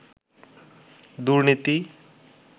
দুর্নীতি